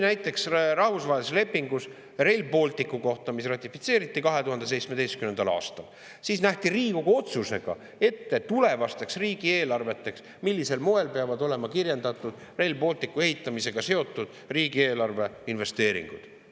Näiteks rahvusvahelises lepingus Rail Balticu kohta, mis ratifitseeriti 2017. aastal, nähti Riigikogu otsusega ette, millisel moel peavad tulevastes riigieelarvetes olema kirjeldatud Rail Balticu ehitamisega seotud riigieelarve investeeringud.